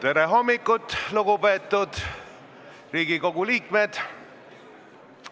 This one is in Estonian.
Tere hommikust, lugupeetud Riigikogu liikmed!